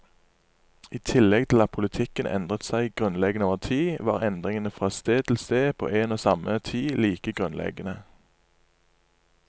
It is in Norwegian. I tillegg til at politikken endret seg grunnleggende over tid, var endringene fra sted til sted på en og samme tid like grunnleggende.